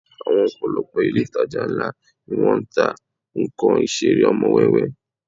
Àwọn ọ̀pọ̀lọpọ̀ ilé ìtajà ńlá ni wọ́n ń ta nnkan Ìṣeré ọmọ wẹ́wẹ́